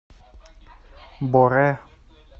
боре